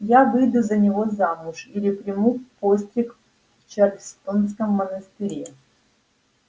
я выйду за него замуж или приму постриг в чарльстонском монастыре